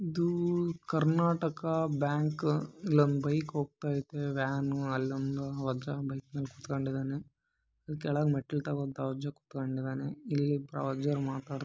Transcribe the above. ಇದು ಕರ್ನಾಟಕ ಬ್ಯಾಂಕ್ ಇಲ್ಲಿ ಬಂದು ಬೈಕ್ ಹೋಗ್ತಾ ಇದೆ ವ್ಯಾನ್ ಹೋಗ್ತಾ ಇದೆ ಇಲ್ಲೊಂದು ಹೊಸ ಬೈಕ್ ನಿಲ್ಸಿದ್ದಾರೆ ಅಲ್ಲಿ ಮೆಟ್ಟಿಲು ಕೆಳಗಡೆ ಹಬ್ಬ ಇದಾನೆ